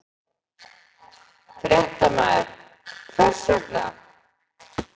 Fréttamaður: Hvers vegna?